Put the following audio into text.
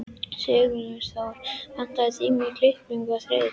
Sigurþóra, pantaðu tíma í klippingu á þriðjudaginn.